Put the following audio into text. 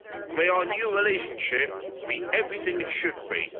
May our new relationship be everything it should